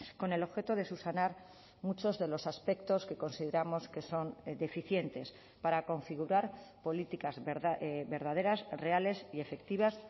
con el objeto de subsanar muchos de los aspectos que consideramos que son deficientes para configurar políticas verdaderas reales y efectivas